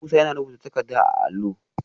Musa yana rubuta takardar a allo